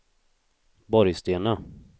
Borgstena